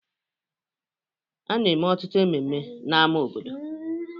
A na-eme ọtụtụ ememme n'ámá obodo